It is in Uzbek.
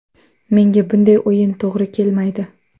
Menga bunday o‘yin to‘g‘ri kelmaydi.